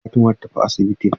Gobe ​​Fatima zata tafi asibitin.